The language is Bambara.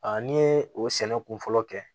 A n'i ye o sɛnɛ kun fɔlɔ kɛ